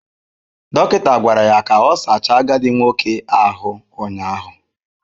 Dọkịta gwara ya ka ọ sachaa agadi nwoke ahụ ụnyaahụ.